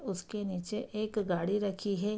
उसके निचे एक घडी रखि हे।